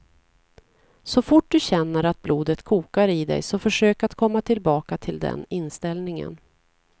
Så fort du känner att blodet kokar i dig så försök att komma tillbaka till den inställningen.